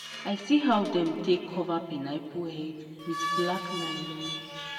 i see how dem take cover pineapple head with black nylon.